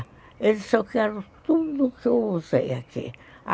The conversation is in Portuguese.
Ele disse, eu quero tudo o que eu usei aqui.